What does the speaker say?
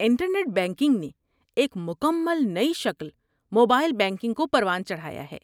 inter net banking نے ایک مکمل نئی شکل موبائل بینکنگ کو پروان چڑھایا ہے